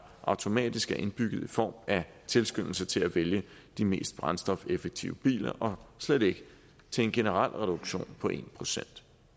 automatisk er indbygget i form af en tilskyndelse til at vælge de mest brændstofeffektive biler og slet ikke en generel reduktion på en procent